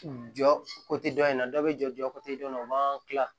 Jɔ dɔ in na dɔ bɛ jɔ jɔ dɔ in na u b'an tila